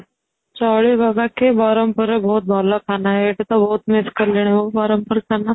ଚଳିବ, ବାକି ବରମପୁର ର ବହୁତ ଭଲ ଖାନା ହେ, ଏଠି ତ ବହୁତ miss କରିଲିଣି ମୁଁ ବରମପୁର ଖାନା